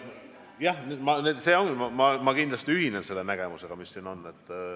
Jah, ma kindlasti ühinen selle nägemusega, mis siin on.